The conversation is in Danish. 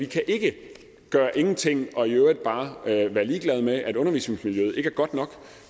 kan gøre ingenting og i øvrigt bare være ligeglade med at undervisningsmiljøet ikke er godt nok